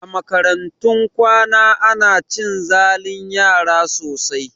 A makarantun kwana ana cin zalin yara sosai